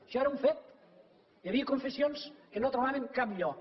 això era un fet hi havia confessions que no trobaven cap lloc